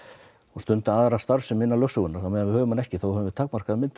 stunda aðra starfsemi innan lögsögunnar ef við höfum hana ekki höfum við takmarkaða mynd af